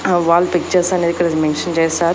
ఆ wall pictures అనేవి ఇక్కడ మెన్షన్ చేశారు.